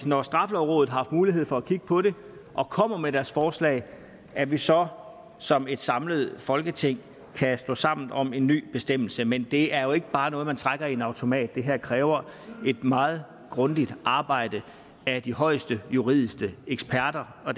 når straffelovrådet har haft mulighed for at kigge på det og kommer med deres forslag at vi så som et samlet folketing kan stå sammen om en ny bestemmelse men det er jo ikke bare noget man trækker i en automat det her kræver et meget grundigt arbejde af de højeste juridiske eksperter og